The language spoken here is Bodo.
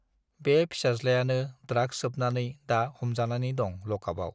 बे फिसाज्लायानो ड्राग्स सोबनानै दा हमजानानै दं लकआपआव।